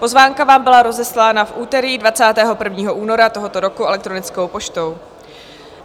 Pozvánka vám byla rozeslána v úterý 21. února tohoto roku elektronickou poštou.